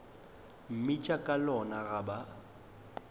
mmitša ka lona ga ba